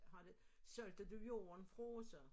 Har du solgte du jorden fra så